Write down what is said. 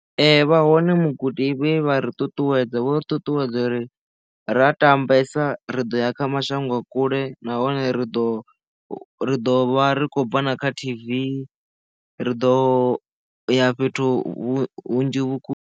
Ee vha hone mugudi vhe vha ri ṱuṱuwedza vhori ṱuṱuwedza uri ra tambesa ri ḓo ya kha mashango a kule nahone ri ḓo ri ḓo vha ri khou bva na kha T_V ri ḓo ya fhethu hunzhi.